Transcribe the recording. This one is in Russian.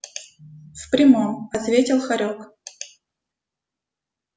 в прямом ответил хорёк